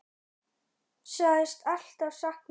Hún sagðist alltaf sakna hennar.